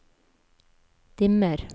dimmer